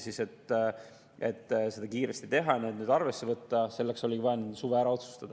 Selleks, et seda kiiresti teha, neid arvesse võtta, oligi vaja need enne suve ära otsustada.